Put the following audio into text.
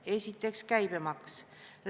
Esiteks, käibemaks.